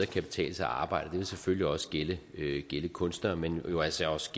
kan betale sig at arbejde og det vil selvfølgelig også gælde kunstnere men jo altså også